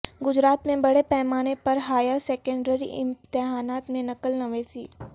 گجرات میں بڑے پیمانے پر ہائر سیکنڈری امتحانات میں نقل نویسی